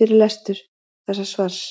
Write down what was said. fyrir lestur þessa svars.